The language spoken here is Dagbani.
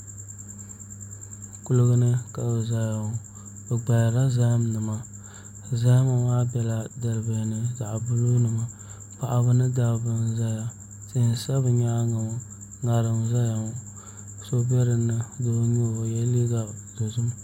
Kuligi ni ka bi ʒɛya ŋɔ bi gbaharila zaham nima zahama maa biɛla dalibihi ni zaɣ buluu nima paɣaba ni dabba n ʒɛya tihi n sa bi nyaangi ŋɔ ŋarim n ʒɛya ŋɔ so n bɛ bi nyaangi ŋɔ doo n nyɛo o yɛla liiga dozim